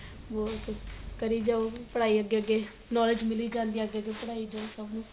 ਬਹੁਤ ਕਰੀ ਜਾਉ ਪੜਾਈ ਅੱਗੇ ਅੱਗੇ knowledge ਮਿਲੀ ਜਾਂਦੀ ਏ ਅੱਗੇ ਅੱਗੇ ਪੜਾਈ ਤੋਂ